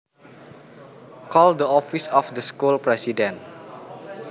Call the office of the school president